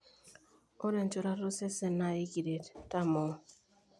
Ore enchorata osesen na ikiret tamoo.